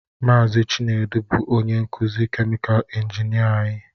Mazị Chinedu bụ onye nkuzi kèmikal injinịa anyị